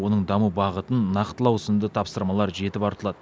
оның даму бағытын нақтылау сынды тапсырмалар жетіп артылады